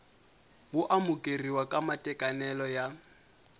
wo amukeriwa ka matekanelo ya